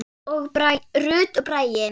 Rut og Bragi.